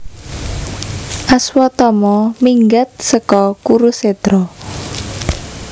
Aswatama minggat seka Kurusetra